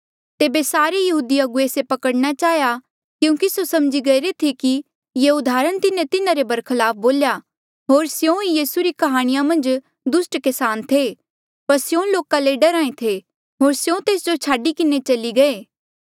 तेबे सारे यहूदी अगुवे से पकड़ना चाहेया क्यूंकि स्यों समझी गईरे थे कि ये उदाहरण तिन्हें तिन्हारे बरखलाफ बोल्या होर स्यों ई यीसू री काह्णी मन्झ दुस्ट किसान थे पर स्यों लोका ले डरहा ऐें थे होर स्यों तेस जो छाडी किन्हें चली गये